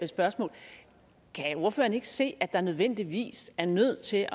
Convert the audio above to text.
spørgsmål kan ordføreren ikke se at der nødvendigvis er nødt til